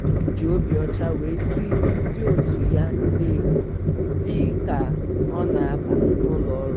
o ji obi ọcha wee sị ndị otu ya "ndewo" dị ka ọ na-aba n'ụlọ ọrụ.